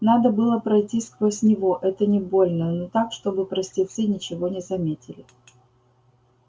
надо было пройти сквозь него это не больно но так чтобы простецы ничего не заметили